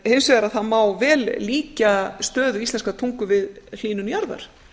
hins vegar má vel líkja stöðu íslenskrar tungu við hlýnun jarðar